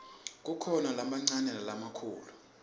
kukhona lamancane nalamakhulu